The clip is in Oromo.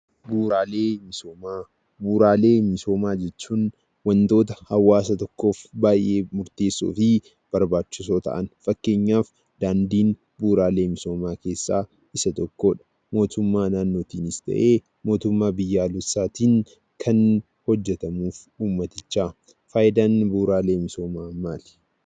Bu'uuraalee misoomaa: bu'uuraalee misoomaa jechuun; wantoota hawaasa tokkoof baay'ee murteessofi barbaachisoo ta'an, fakkeenyaaf daandiin bu'uuraalee misoomaa keessa Isa tokko. Mootummaa naannoonis ta'e mootummaa biyyaaleessattin Kan hojeetamuf uummaaticha. Faayidaan bu'uuraalee misoomaa maali?